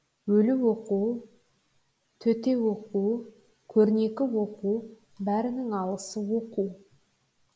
өлі оқу төте оқу көрнекі оқу бәрінің алысы оқу